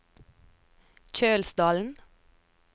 Kjølsdalen